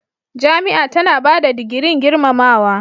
Jami'a tana ba da digirin gurmamawa.